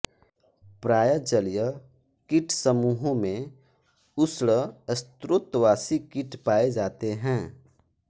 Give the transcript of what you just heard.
प्राय जलीय कीटसमूहों में उष्ण स्त्रोतवासी कीट पाए जाते हैं